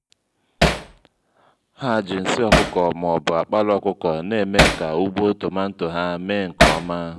ha ji nsị ọkụkọ ma ọbu àkpala ọkụkọ n'eme ka ugbo tomanto ha mee nke ọma